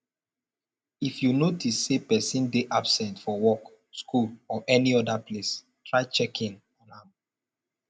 if you notice say persin de absent for work school or any other place try check in on am